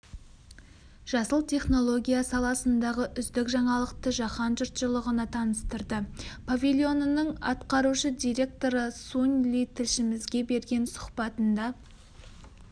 жасыл технология саласындағы үздік жаңалықты жаһан жұртшылығына таныстырды павильонының атқарушы директоры сунь ли тілшімізге берген сұхбатында